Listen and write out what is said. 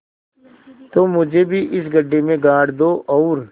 तुम मुझे भी इस गड्ढे में गाड़ दो और